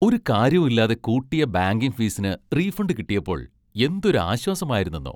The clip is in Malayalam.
ഒരു കാര്യവും ഇല്ലാതെ കൂട്ടിയ ബാങ്കിങ് ഫീസിന് റീഫണ്ട് കിട്ടിയപ്പോൾ എന്തൊരു ആശ്വാസമായിരുന്നെന്നോ!